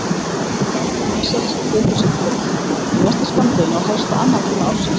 Fjarvera Axels tekur sinn toll, í mesta skammdeginu á helsta annatíma ársins.